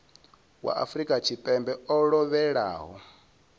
wa afrika tshipembe o lovhelaho